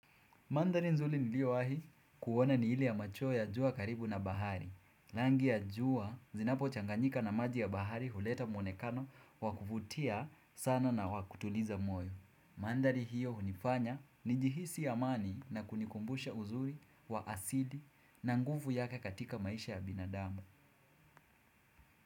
Mandhari nzrli niliyowahi kuona ni ile ya machweo ya jua karibu na bahari. Rangi ya jua, zinapochanganyika na maji ya bahari huleta mwonekano wa kuvutia sana na wa kutuliza moyo. Mandhari hiyo hunifanya nijihisi amani na kunikumbusha uzuri wa asili na nguvu yake katika maisha ya binadamu.